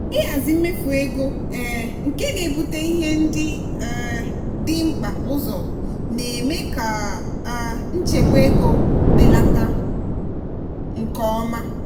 ịhazi mmefu ego um nke na-ebute ihe ndị um dị mkpa ụzọ na-eme ka um nchegbu ego belata nke ọma.